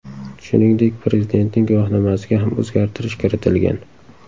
Shuningdek, prezidentning guvohnomasiga ham o‘zgartirish kiritilgan.